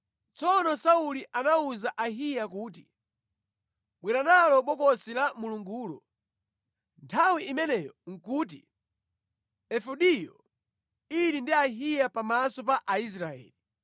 Tsono Sauli anawuza Ahiya kuti, “Bwera nalo Bokosi la Mulungulo.” (Nthawi imeneyo nʼkuti efodiyo ili ndi Ahiya pamaso pa Aisraeli).